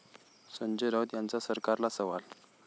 संजय राऊत यांचा सरकारला सवाल